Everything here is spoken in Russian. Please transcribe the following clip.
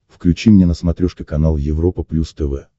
включи мне на смотрешке канал европа плюс тв